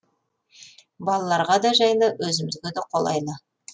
балаларға да жайлы өзімізге де қолайлы